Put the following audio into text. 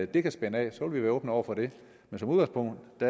det kan spænde af så vil vi være åbne over for det men som udgangspunkt